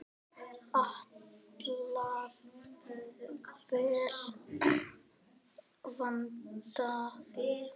Alltaf vel vandað.